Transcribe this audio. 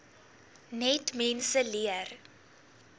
net mense leer